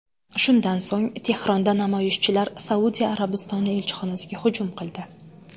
Shundan so‘ng Tehronda namoyishchilar Saudiya Arabistoni elchixonasiga hujum qildi.